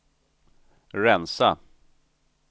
rensa